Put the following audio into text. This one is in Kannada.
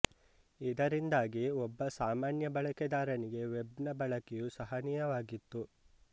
ಇದರಿಂದಾಗಿ ಒಬ್ಬ ಸಾಮಾನ್ಯ ಬಳಕೆದಾರನಿಗೆ ವೆಬ್ ನ ಬಳಕೆಯು ಸಹನೀಯವಾಗಿತ್ತು